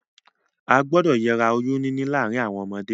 A gbúdọ̀ yera oyún níní láàrin àwon ọmọdé